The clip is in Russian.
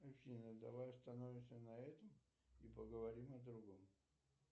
афина давай остановимся на этом и поговорим о другом